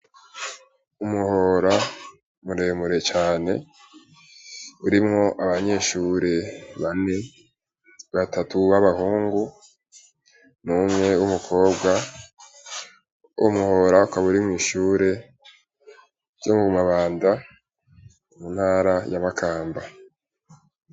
Umuhora muremure cane urimwo abanyeshuri bane batatu baba hungu n'umwe w'umukobwa uwo muhora ukaba uri mw'ishuri ryo Mumabanda mu ntara ya Makamba.